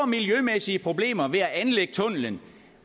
miljømæssige problemer ved at anlægge tunnelen